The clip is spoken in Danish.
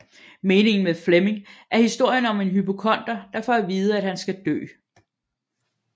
Meningen Med Flemming er historien om en hypokonder der får at vide at han skal dø